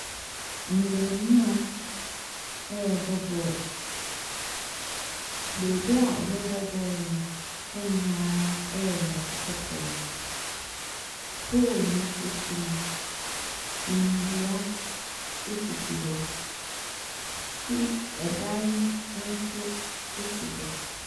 Mmɛɛmowa rebɔ ball. Baabi a wɔrebɔ ball no hɔ nyinaa yɛ nnɛte kɔkɔɔ. pole no akyi no, nnua sisi hɔ, school ɛdan nso si hɔ.